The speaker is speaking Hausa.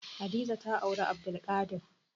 Hadiza ta auri Abdulkadir.